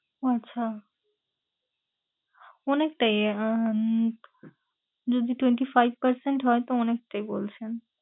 আচ্ছা অনেকটাই উম যদি twenty five percent হয় তো অনেকটাই বলছেন।